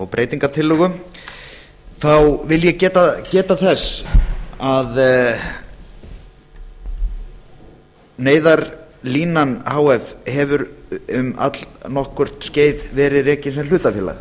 og breytingartillögu þá vil ég geta þess að neyðarlínan h f hefur um allnokkurt skeið verið rekið sem hlutafélag